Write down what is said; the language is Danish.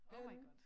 Oh my god